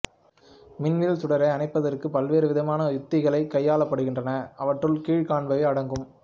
மின்வில் சுடரை அணைப்பதற்கு பல்வேறு விதமான உத்திகள் கையாளப்படுகின்றன அவற்றுள் கீழ்க் காண்பவை அடங்கும்